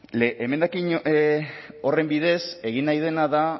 emendakin horren bidez egin nahi dena da